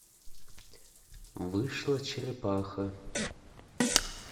вышла черепаха